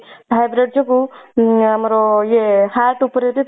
vibrate ଯୋଗୁ ଉଁ ଆମର ଇଏ heart ଉପରେ ବି